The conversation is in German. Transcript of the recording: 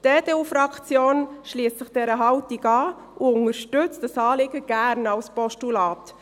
Die EDU-Fraktion schliesst sich dieser Haltung an und unterstützt dieses Anliegen gern als Postulat.